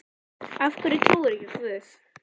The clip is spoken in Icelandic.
Af hverju trúirðu ekki á guð?